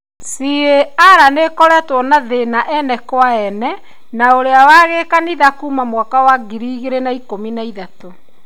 CAR nĩkoretwe na thĩna ene kwa ene na ũria wa gĩkanitha kuuma mwaka wa ngiri ĩgĩrĩ na ikũmi na ithatũ.